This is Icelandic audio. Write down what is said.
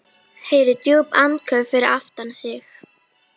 Heyrir djúp andköf fyrir aftan sig.